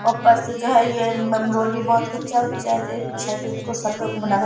ऊपर से जो है ये उम्म रोड भी बहुत कच्चा उच्चा --